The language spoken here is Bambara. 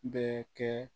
Bɛɛ kɛ